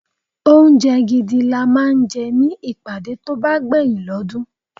Oúnjẹ gidi la máa ń jẹ ní ìpàdé tó bá gbeyin l'odun.